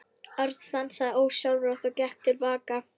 Örn stansaði ósjálfrátt og gekk til baka.